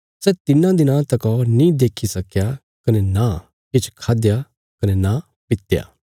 सै तिन्नां दिनां तका नीं देक्खी सकया कने नां किछ खादया कने नां पित्या